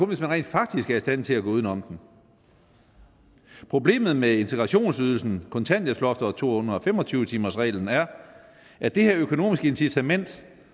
hvis man rent faktisk er i stand til at gå uden om dem problemet med integrationsydelsen kontanthjælpsloftet og to hundrede og fem og tyve timersreglen er at det her økonomiske incitament